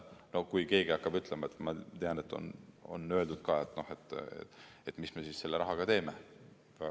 No kui keegi hakkab ütlema – ma tean, et seda on öeldud –, mis me selle rahaga teeme.